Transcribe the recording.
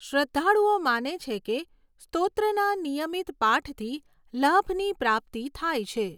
શ્રદ્ધાળુઓ માને છે કે સ્તોત્રના નિયમિત પાઠથી લાભની પ્રાપ્તિ થાય છે.